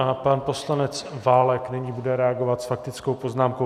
A pan poslanec Válek nyní bude reagovat s faktickou poznámkou.